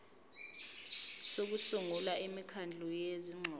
sokusungula imikhandlu yezingxoxo